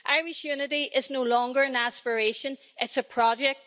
Irish unity is no longer an aspiration it's a project.